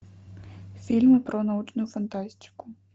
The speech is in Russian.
фильмы про научную фантастику